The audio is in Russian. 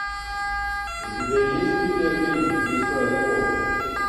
у тебя есть видеофильм лиса и волк